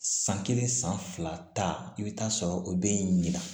San kelen san fila i bɛ taa sɔrɔ o bɛ ɲina